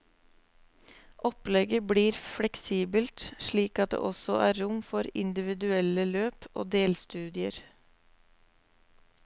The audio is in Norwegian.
Opplegget blir fleksibelt slik at det også er rom for individuelle løp og delstudier.